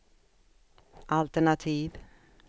altenativ